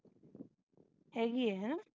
ਹੈਗੀ ਹੈ ਹੈ ਨਾ